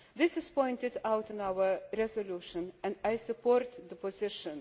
This is pointed out in our resolution, and I support the position.